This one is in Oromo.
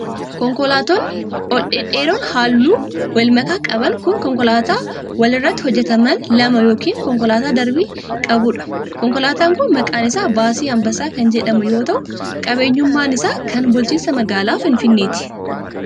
Konkolaatonni ol dhedheeroon haalluu wal makaa qaban kun, konkolaattota wal irratti hojjataman lama yokin konkolaataa darbii qabuu dha. Konkolaataan kun maqaan isaa Baasii Anbassaa kan jedhamu yoo ta'u, qabeenyummaan isaa kan bulchiinsa magaalaa Finfinneeti.